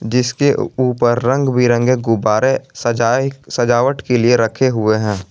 जिसके ऊपर रंग बिरंगे गुब्बारे सजाए सजावट के लिए रखे हुए हैं।